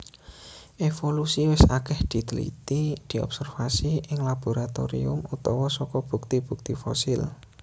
Evolusi wis akèh ditliti diobservasi ing laboratorium utawa saka bukti bukti fosil